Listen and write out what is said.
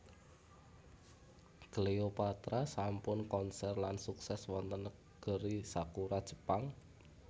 Cleopatra sampun konser lan sukses wonten negeri Sakura Jepang